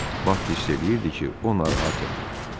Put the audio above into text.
Bak hiss eləyirdi ki, o narahat yatır.